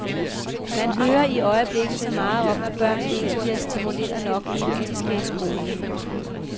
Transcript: Man hører i øjeblikket så meget om, at børn ikke bliver stimuleret nok, inden de skal i skole.